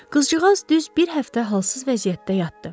Qızcığaz düz bir həftə halsız vəziyyətdə yatdı.